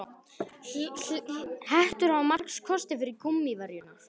Hettur hafa marga kosti fram yfir gúmmíverjurnar.